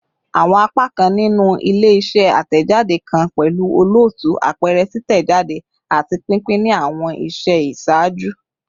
Awọn apakan ninu ile-iṣẹ atẹjade kan pẹlu olootu, apẹrẹ, titẹjade, ati pinpin ni awọn iṣẹ iṣaaju